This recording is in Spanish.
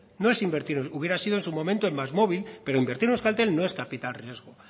no es invertir hubiera sido en su momento en más móvil pero invertir en euskaltel no es capital riesgo